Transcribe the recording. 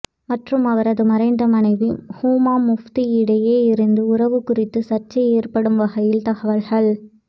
மற்றும் அவரது மறைந்த மனைவி ஹூமா முஃப்தி இடையே இருந்த உறவு குறித்து சர்ச்சை ஏற்படும் வகையில் தகவல்கள்